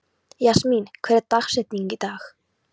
Jasmín, hver er dagsetningin í dag?